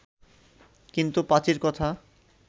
কিন্তু পাঁচীর কথা